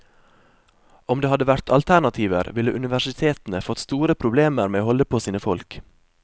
Om det hadde vært alternativer, ville universitetene fått store problemer med å holde på sine folk.